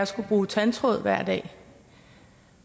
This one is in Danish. skulle bruge tandtråd hver dag